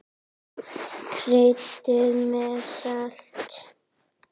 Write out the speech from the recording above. Kryddið með salti.